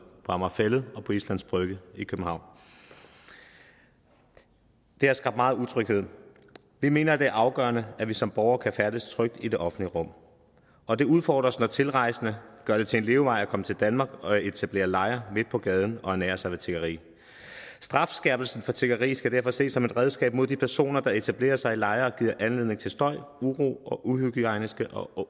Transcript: på amager fælled og islands brygge i københavn det har skabt meget utryghed og vi mener det er afgørende at vi som borgere kan færdes trygt i det offentlige rum og det udfordrer os når tilrejsende gør det til en levevej at komme til danmark og etablere lejre midt på gaden og ernære sig ved tiggeri strafskærpelsen for tiggeri skal derfor ses som et redskab mod de personer der etablerer sig i lejre giver anledning til støj uro og uhygiejniske og